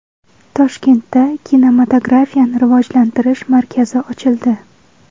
Toshkentda kinematografiyani rivojlantirish markazi ochildi.